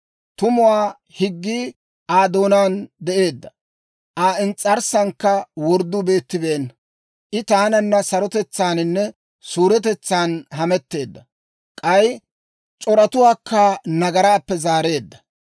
Tumuwaa higgii Aa doonaan de'eedda; Aa ins's'arssankka wordduu beettibeenna. I taananna sarotetsaaninne suuretetsaan hametteedda; k'ay c'oratuwaakka nagaraappe zaareedda.